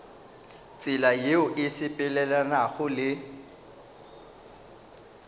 tsela yeo e sepelelanago le